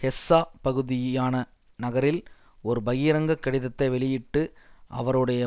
ஹெஸ்ஸ பகுதியான நகரில் ஒரு பகிரங்க கடிதத்தை வெளியிட்டு அவருடைய